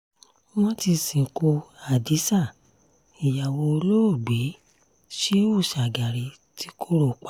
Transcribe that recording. wọ́n ti sìnkú hadiza ìyàwó olóògbé shehu shagari ti koro pa